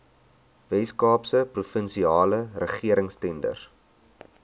weskaapse provinsiale regeringstenders